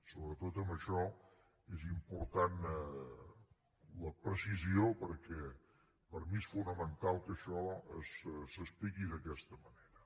sobretot en això és important la precisió perquè per mi és fonamental que això s’expliqui d’aquesta manera